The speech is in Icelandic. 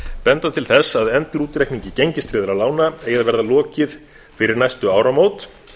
benda til þess að endurútreikningi gengistryggðra lána eigi að verða lokið fyrir næstu áramót